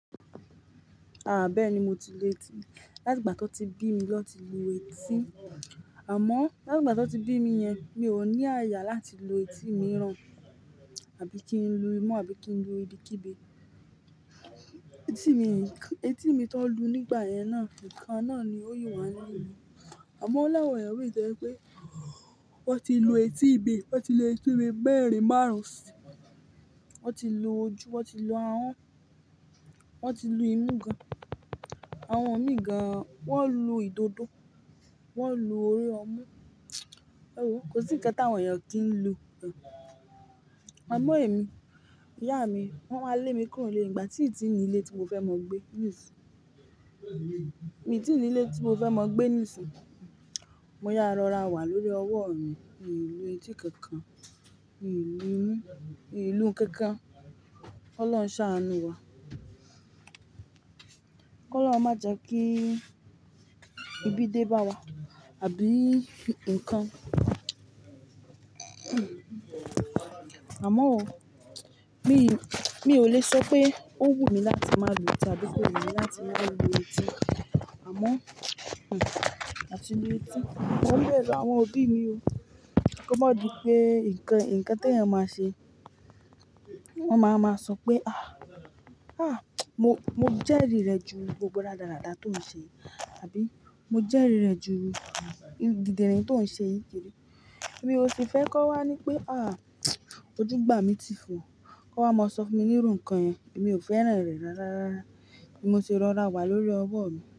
Ah! Bẹ́ẹ̀ni, mo ti lu etí. Láti ìgbà tí wọ́n ti bí mi lọ́ ti lu etí. Àmọ́, láti ìgbà tí wọ́n ti bí mi yẹn, mi ò ní àyà láti lu etí mìíràn àbí kí ń lu imú àbí kí ń lu ibi kibi. Etí mi, etí mi tó n lu nígbà yẹn náà, nǹkan náà ni ó yi wá nílu. Àmọ́ o láwọ̀n eyan mí i to jẹ́ pé wọ́n ti lu etí imi, wọ́n ti lu etí bi merin marun ùn sí i, wọ́n ti lu ojú, wọ́n ti lu ahọ́n, wọ́n ti lu imú gan-an, àwọn mi gan-an, wọ́n lu ìdodo, wọ́n lu orí ọmú. Éwo, kò sí ǹkan táwọn èèyàn kì ń lu gan. Àmọ́ èmi, ìyá mi, wọ́n máa lé mi kúrò ní ilé nígbà tí ìtínì ilé tí mo fẹ́ máa gbé nísìyí. Mìtínì ilé tí mo fẹ́ máa gbé nísìyí, mo yá rọra wà lórí ọwọ́ mi, mí lú etí kankan, mí ì lú imu, mi lú nkankan. K'Ọlọ́run ṣáanú wa. K'olorun ma je ki ibi deba wa abi nkan. Àmọ́ o, mi, mi ò le sọ pé ó wù mí láti má lu etí àbí pé ò wù mí láti má lu etí. Àmọ́, àti lu etí. Mọ́n bẹ̀ru àwọn òbí mi o. Kí ó má di pé ǹkan, ǹkan tẹ̀yan máa ṣe. Wọ́n máa wa máa sọ pé "àh! Àh! Mo, mo jẹ́rìí rẹ̀ ju gbogbo ràdaràda tó ń ṣe yìí." Àbí "mo jẹ́rìí rẹ̀ ju dídìnrín tó ń ṣe yìí jẹrìí." Èmi ò sì fẹ́ kọ́ wá ní pé "àh! Ojú gbà mí ti fun ọ̀. Kọ́ wá máa sọ fún mi nírú ǹkan yẹn." Èmi ò fẹ́ràn rẹ̀ rárá rárá. Ni mo se rọra wà lórí ọwọ́ mi.